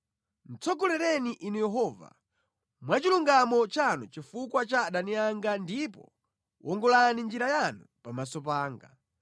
Tsogolereni Inu Yehova, mwa chilungamo chanu chifukwa cha adani anga ndipo wongolani njira yanu pamaso panga.